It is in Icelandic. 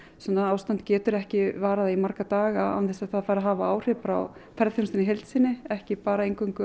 svona ástand getur ekki varað í marga daga án þess að það hafi áhrif á ferðaþjónustuna í heild sinni ekki bara